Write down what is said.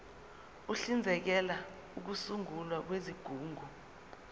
uhlinzekela ukusungulwa kwezigungu